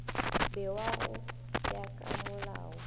bewa go ya ka molao